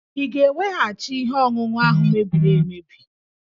Ị ga-eweghachi ihe ọṅụṅụ ahụ mebiri emebi?